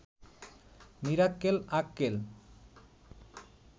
Mirakkel Akkel